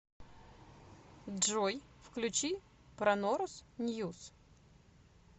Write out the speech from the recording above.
джой включи пронорус ньюс